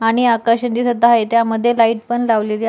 आणि आकाशे दिसत आहेत यामध्ये लाइट पण लावलेली आहे.